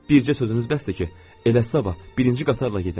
Bircə sözünüz bəsdir ki, elə sabah birinci qatarla gedim.